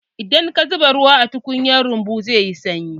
Idan ka zuba ruwa a tukunyar yumbu, zai yi sanyi.